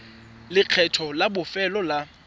le lekgetho la bofelo la